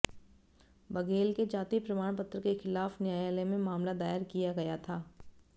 बघेल के जाति प्रमाण पत्र के खिलाफ न्यायालय में मामला दायर किया गया था